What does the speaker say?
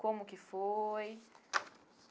Como que foi?